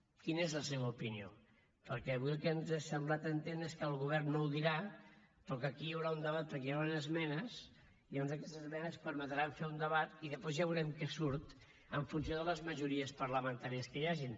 quina és la seva opinió perquè avui el que ens ha semblat entendre és que el govern no ho dirà però que aquí hi haurà un debat perquè hi ha unes esmenes i llavors aquestes esmenes permetran fer un debat i després ja veurem què surt en funció de les majories parlamentàries que hi hagi